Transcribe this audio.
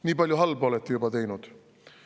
Nii palju halba olete juba teinud.